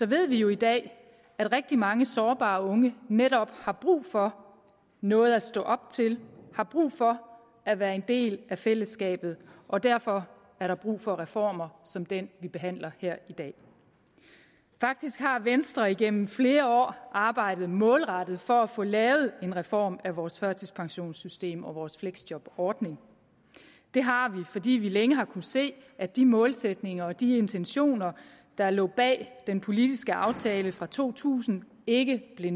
ved vi jo i dag at rigtig mange sårbare unge netop har brug for noget at stå op til har brug for at være en del af fællesskabet og derfor er der brug for reformer som den vi behandler her i dag faktisk har venstre gennem flere år arbejdet målrettet for at få lavet en reform af vores førtidspensionssystem og vores fleksjobordning det har vi fordi vi længe har kunnet se at de målsætninger og de intentioner der lå bag den politiske aftale fra to tusind ikke blev